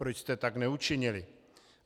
Proč jste tak neučinili?